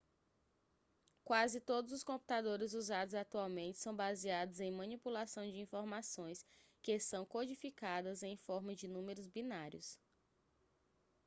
quase todos os computadores usados atualmente são baseados em manipulação de informações que são codificadas em forma de números binários